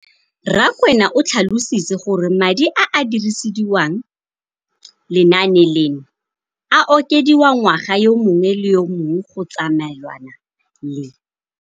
Rakwena o tlhalositse gore madi a a dirisediwang lenaane leno a okediwa ngwaga yo mongwe le yo mongwe go tsamaelana le